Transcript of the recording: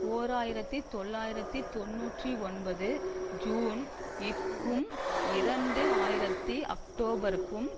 ஓர் ஆயிரத்தி தொள்ளாயிரத்தி தொன்னூற்றி ஒன்பது ஜூன் இற்கும் இரண்டு ஆயித்தி அக்டோபருக்கும்